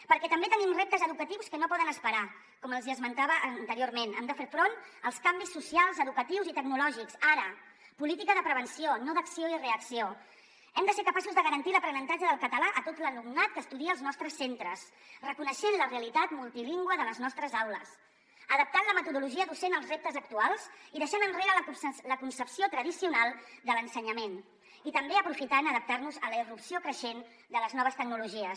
perquè també tenim reptes educatius que no poden esperar com els hi esmentava anteriorment hem de fer front als canvis socials educatius i tecnològics ara política de prevenció no d’acció i reacció hem de ser capaços de garantir l’aprenentatge del català a tot l’alumnat que estudia als nostres centres reconeixent la realitat multilingüe de les nostres aules adaptant la metodologia docent als reptes actuals i deixant enrere la concepció tradicional de l’ensenyament i també aprofitant d’adaptar nos a la irrupció creixent de les noves tecnologies